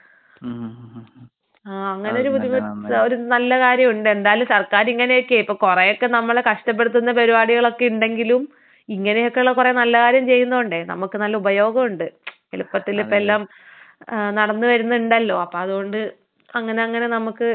ആഹ് അങ്ങനെ ഒരു ബുദ്ധിമുട്ട് ഒരു നല്ല കാര്യമുണ്ട് എന്തായാലും സർക്കാരിങ്ങനെയൊക്കേ ഇപ്പൊ കൊറേ ഒക്കെ നമ്മളെ കഷ്ട്ടപെടുത്തുന്ന പരുപാടികളൊക്കെ ഉണ്ടെങ്കിലും ഇങ്ങനെ ഒക്കെയുള്ള കൊറേ നല്ല കാര്യം ചെയ്യുന്ന കൊണ്ടേ നമ്മക്ക് നല്ല ഉപയോഗമുണ്ട്. എളുപ്പത്തില് ഇപ്പൊ എല്ലാം ഏഹ് നടന്ന് വരുന്നുണ്ടല്ലോ അപ്പൊ അത് കൊണ്ട് അങ്ങനെ അങ്ങനെ നമുക്ക് എളുപ്പമാണെന്തായാലും.